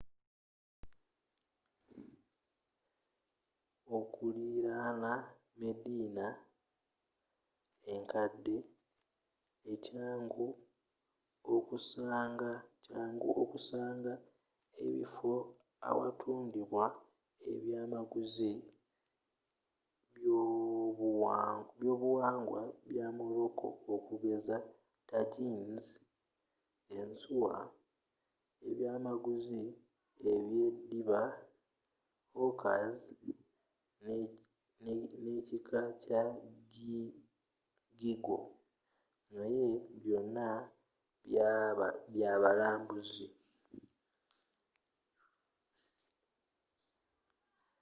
okulirana medina enkadde kyangu okusanga ebifo awatundibwa ebyaamaguzi by'obuwangwa bya morocco okugeza tagines ensuwa ebyaamaguzi ebyeddiba hookahs neekika kya geegaw naye byonna byabalambuzi